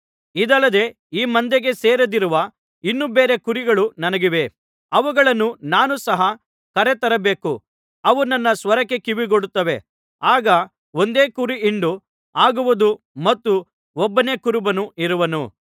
ಇದಲ್ಲದೆ ಈ ಮಂದೆಗೆ ಸೇರದಿರುವ ಇನ್ನೂ ಬೇರೆ ಕುರಿಗಳು ನನಗಿವೆ ಅವುಗಳನ್ನೂ ಸಹ ನಾನು ಕರೆ ತರಬೇಕು ಅವು ನನ್ನ ಸ್ವರಕ್ಕೆ ಕಿವಿಗೊಡುತ್ತವೆ ಆಗ ಒಂದೇ ಕುರಿಹಿಂಡು ಆಗುವುದು ಮತ್ತು ಒಬ್ಬನೇ ಕುರುಬನು ಇರುವನು